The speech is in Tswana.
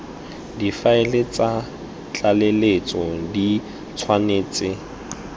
difaele tsa tlaleletso di tshwanetse